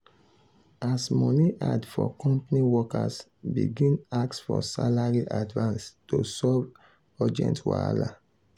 as money hard for company workers begin ask for salary advance to solve urgent wahala.